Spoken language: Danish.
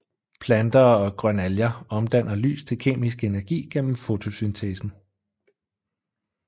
Planter og grønalger omdanner lys til kemisk energi gennem fotosyntesen